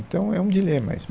Então, é um dilema isso.